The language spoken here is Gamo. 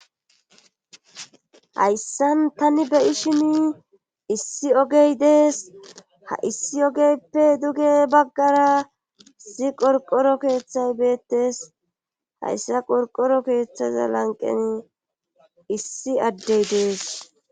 Hayssan tani beyishini issi ogey dees ha issi ogeyppe duge baggara si qorqoro keeththay beettes hayssa qorqoro keeththaza lanqeni issi addey dees.